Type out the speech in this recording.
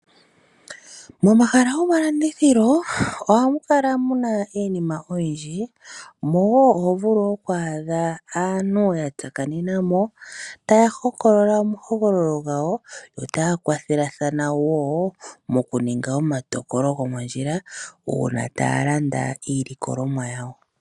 Momahala gomalandithilo, ohamu kala muna iinima oyindji, omo wo hovulu oku adha aantu ya tsakanena mo, taya hokolola omahokololo gawo, yo taya kwathelathana wo mokuninga omatokolo gomondjila, uuna taya landa iilikolomwa yawo.